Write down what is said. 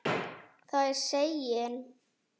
Það er seginn.